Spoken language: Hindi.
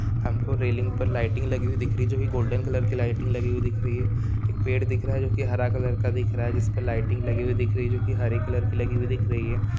हम को रेलिंग पर लाइटिंग लगी हुई दिख रही है जो भी गोल्डन कलर की लाइटिंग लगी हुई दिख रही है एक पेड़ दिख रहा है जो की हरा कलर का दिख रहा है जिस पर लाइटिंग लगी हुई दिख रही है जो की हरे कलर की लगी हुई दिख रही है।